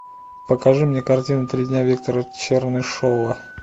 покажи мне картину три дня виктора чернышева